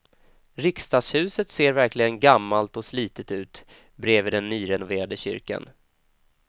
Riksdagshuset ser verkligen gammalt och slitet ut bredvid den nyrenoverade kyrkan.